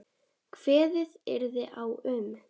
Kveðið yrði á um